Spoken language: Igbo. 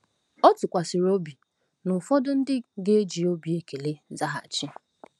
O tụkwasịrị obi na ụfọdụ ndị ga-eji obi ekele zaghachi.